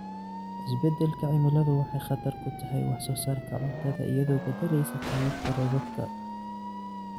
Isbeddelka cimiladu waxay khatar ku tahay wax soo saarka cuntada iyadoo beddeleysa qaababka roobabka.